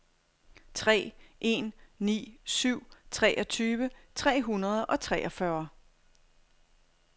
tre en ni syv treogtyve tre hundrede og treogfyrre